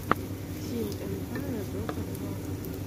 тим эмпае дота два